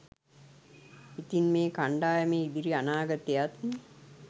ඉතින් මේ කණ්ඩායමේ ඉදිරි අනාගතයත්